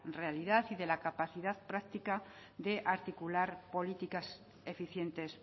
realidad y de la capacidad práctica de articular políticas eficientes